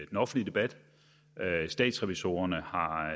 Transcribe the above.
den offentlige debat statsrevisorerne har